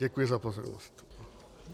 Děkuji za pozornost.